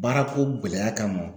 Baarako gɛlɛya kamɔ.